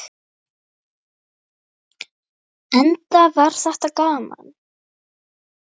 Enda var þetta gaman.